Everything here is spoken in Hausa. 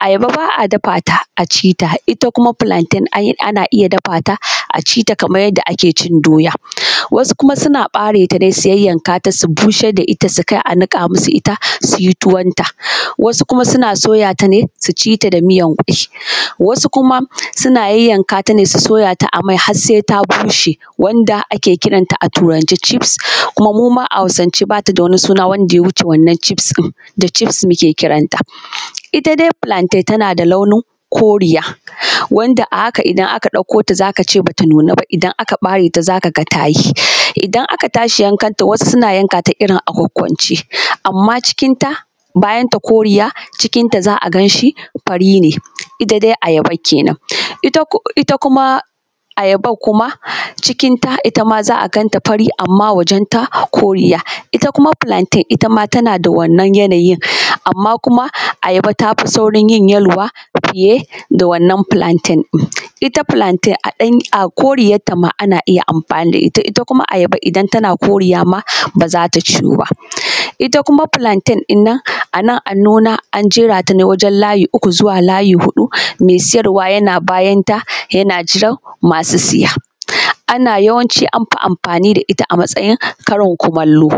Ayaba ba a dafa ta a ci ta, ita kuma filanten ana iya dafa ta a ci ta yadda ake cin doya, wasu dai suna fere ta su yayyankata su bushar da ita, su kai a niƙa musu su yi tuwanta. Wasu kuma suna soya ta ne su ci ta da miyan ƙwai, wasu kuma suna soya ta ne su yayayyanka ta a mai har se ta bushe wanda ake kiranta a Turance cifs, kuma muma a Hausance ba ta da wata suna daya wuce wannan cifs ɗin, da cifs muke kiranta. Ita dai filanten tana da launin koriya wanda a haka idan aka ɗauko ta za ka ce ba ta nuna ba, in ka fere ta za ka yi idan aka tashi yankanta wasu suna yanka ta a kwankwance amma cikin ta bayan ta koriya cikin ta za a gan shi fari ne, ita dai ayaba kenan ita kuma ayaban kuma cikin ta ita ma za a gan ta fari. Amma hoton ta koriya ita kuma filanten ita ma tana da wannan yanayin, amma kuma ayaba tafi saurin yin yaluwa fiye da wannan filanten, ita filanten a koriyanta an a iya amfani da ita, ita kuma ayaba idan tana koriya ma ba za ta ciyu ba. Ita kuma filanten ɗan nan, a nan an nuna an jerata ne wajen layi uku zuwa layi huɗu, me siyarwa yana bayanta yana jirna masu siya a nan yawanci amfi amfani da ita a karin kumallo.